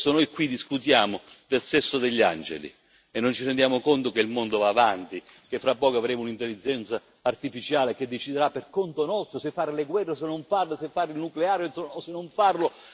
Spesso noi qui discutiamo del sesso degli angeli e non ci rendiamo conto che il mondo va avanti, che fra poco avremo un'intelligenza artificiale che deciderà per conto nostro se fare le guerre o se non farle, se fare il nucleare o se non farlo.